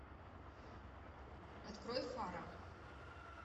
открой фара